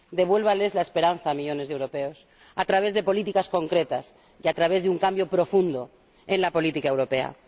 Devuélvales la esperanza a millones de europeos, a través de políticas concretas y a través de un cambio profundo en la política europea.